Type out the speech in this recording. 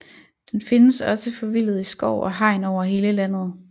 Den findes også forvildet i skov og hegn over hele landet